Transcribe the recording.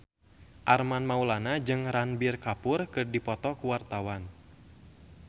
Armand Maulana jeung Ranbir Kapoor keur dipoto ku wartawan